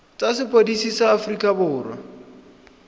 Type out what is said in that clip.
tsa sepodisi sa aforika borwa